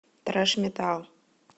трэш метал